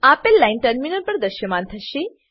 આપેલ line terminal પર દ્રશ્યમાન થશે